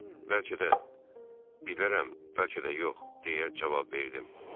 Bəlkə də bir demərəm, bəlkə də yox, deyə cavab verdim.